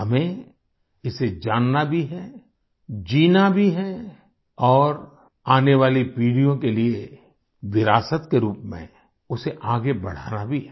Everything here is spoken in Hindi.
हमें इसे जानना भी है जीना भी है और आने वाली पीढ़ियों के लिए विरासत के रूप में उसे आगे बढ़ाना भी है